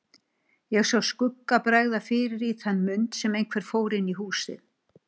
Ég sá skugga bregða fyrir í þann mund sem einhver fór inn í húsið.